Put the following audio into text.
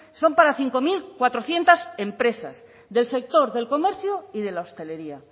son para cinco mil cuatrocientos empresas del sector del comercio y de la hostelería